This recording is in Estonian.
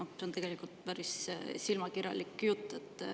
See on tegelikult päris silmakirjalik jutt.